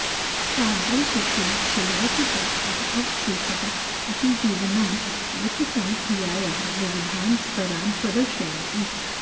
तादृशीषु शिलासु प्राप्ताः अवशेषाः अपि जीविनां विकसनक्रियायाः विविधान् स्तरान् प्रदर्शयन्ति